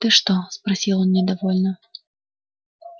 ты что спросил он недовольно